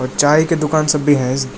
चाय के दुकान सब भी है।